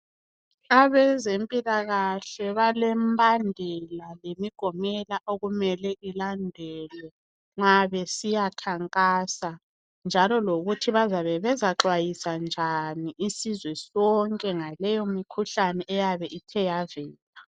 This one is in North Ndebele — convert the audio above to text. Abezempilakahle balembandela lemigomela okumele ilandelwe nxa besiyakhankasa njalo lokuthi bazabe bezaxwayisa njani isizwe sonke ngaleyomikhuhlane eyabe ithe yavela.